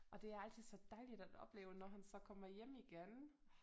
Og det er altid så dejligt at opleve når han så kommer hjem igen